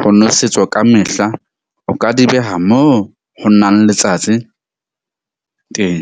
ho nwesetswa ka mehla. O ka di beha mo ho nang letsatsi teng.